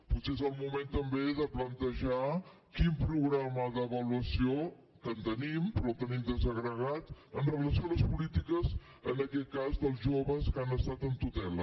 potser és el moment també de plantejar quin programa d’avaluació que en tenim però ho tenim desagregat amb relació a les polítiques en aquest cas dels joves que han estat en tutela